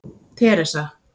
Teresa